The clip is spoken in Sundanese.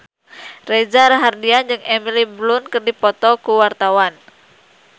Reza Rahardian jeung Emily Blunt keur dipoto ku wartawan